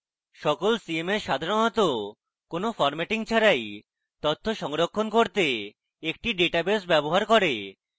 সকল cms সাধারণত কোনো formatting ছাড়াই তথ্য সংরক্ষণ করতে একটি ডাটাবেস ব্যবহার করে